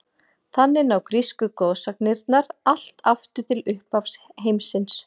Þannig ná grísku goðsagnirnar allt aftur til upphafs heimsins.